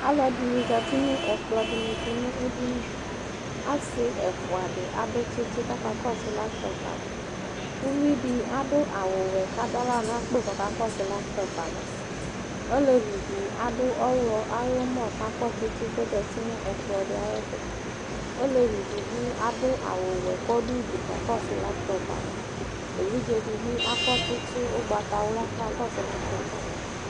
Aluɛdini zati nu ɛkplɔ dini tu nu edini asi ɛfua dini adu tsitsi zati kakɔsu laytɔp ayava uvidi adu awu ɔwɛ kadu aɣla nu akpo ku ɔka kɔsu laytɔpi ava olevi di adu ɔɣlɔ ayɔ mɔ ku ɔzati nu ɛkplɔdi ayɛtu olevi di bi adu awu ɔwɛ ku azati kakɔsu laytɔpi ava evidze dibi akɔ tsitsi ugbatawla ku ɔkakɔsu laytɔpi ava